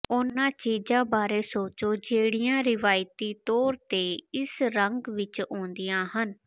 ਉਨ੍ਹਾਂ ਚੀਜ਼ਾਂ ਬਾਰੇ ਸੋਚੋ ਜਿਹੜੀਆਂ ਰਵਾਇਤੀ ਤੌਰ ਤੇ ਇਸ ਰੰਗ ਵਿਚ ਆਉਂਦੀਆਂ ਹਨ